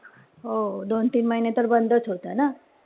हो दोन-तीन महिने तर बंदच होत ना.